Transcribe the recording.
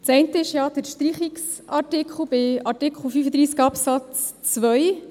Das eine ist der Streichungsartikel bei Artikel 35 Absatz 2.